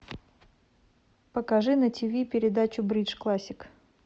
покажи на тиви передачу бридж классик